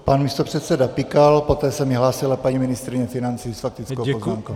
Pan místopředseda Pikal, poté se mi hlásila paní ministryně financí s faktickou poznámkou.